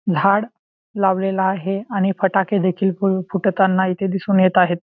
झाडं लावलेल आहे आणि फटाके देखील फुटताना इथे दिसून येत आहेत.